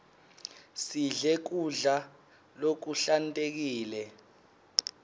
sidle kudla lokuhlantekile